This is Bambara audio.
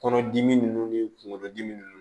Kɔnɔdimi ninnu ni kunkolodimi ninnu